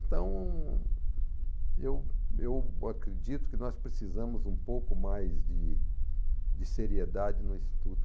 Então, eu eu acredito que nós precisamos um pouco mais de de seriedade no estudo.